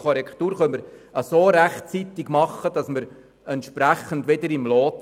Tun wir dies rechtzeitig, befinden wir uns wieder im Lot.